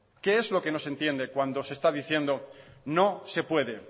qué es lo que no se entiende cuando se está diciendo no se puede